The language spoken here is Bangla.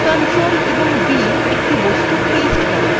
ctrl + v একটি বস্তু paste করে